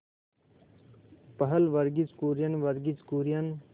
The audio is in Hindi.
पहल वर्गीज कुरियन वर्गीज कुरियन